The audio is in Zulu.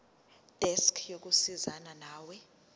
desk yokusizana nawe